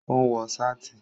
Ó ń wọ sáàtì